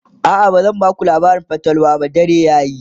a'a bazan Baku labarin fatalwa ba dare yayi